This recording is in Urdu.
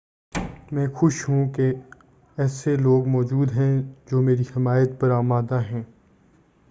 میں خوش ہوں کہ ایسے لوگ موجود ہیں جو میری حمایت پر آمادہ ہیں